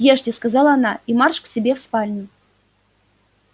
ешьте сказала она и марш к себе в спальню